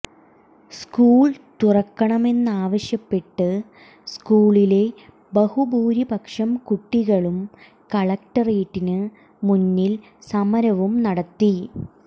school തുറക്കണമെന്നാവശ്യപ്പെട്ട് സ്കൂളിലെ ബഹുഭൂരിപക്ഷം കുട്ടികളും കളക്ടറേറ്റിന് മുന്നിൽ സമരവും നടത്തി